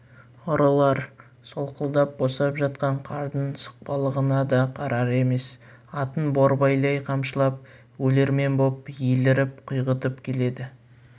ұрылар солқылдап босап жатқан қардың сұқпалығына да қарар емес атын борбайлай қамшылап өлермен боп еліріп құйғытып келеді